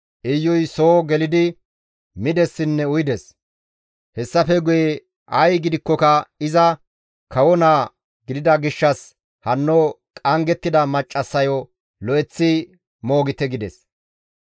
Iyuy soo gelidi midessinne uyides; hessafe guye, «Ay gidikkoka iza kawo naa gidida gishshas hanno qanggettida maccassayo lo7eththi moogite» gides.